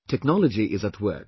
Technology is at work